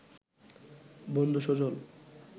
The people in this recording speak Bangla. বন্ধু সজল